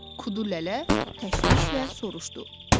Kudu lələ təşvişlə soruşdu.